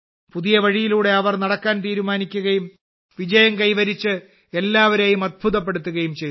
പുതിയ വഴിയിലൂടെ അവർ നടക്കാൻ തീരുമാനിക്കുകയും വിജയം കൈവരിച്ച് എല്ലാവരെയും അത്ഭുതപ്പെടുത്തുകയും ചെയ്തു